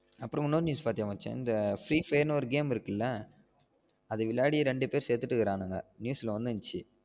அப்றம் இன்னொரு news பாத்தியா மச்சா இந்த free fire ன்னு ஒரு game இருக்குல அத விளையாடி ரெண்டு பேர் செத்துட்டு இருக்கானுங்க news ல வந்துருஞ்சு